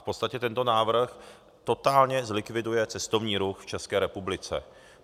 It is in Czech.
V podstatě tento návrh totálně zlikviduje cestovní ruch v České republice.